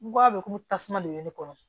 N ko a bɛ komi tasuma de bɛ ne kɔnɔ